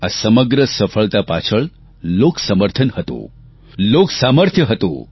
આ સમગ્ર સફળતા પાછળ લોકસમર્થન હતું લોક સામર્થ્ય હતું